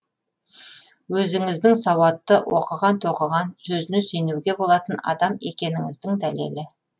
өзіңіздің сауатты оқыған тоқыған сөзіне сенуге болатын адам екеніңіздің дәлелі